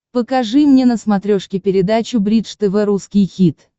покажи мне на смотрешке передачу бридж тв русский хит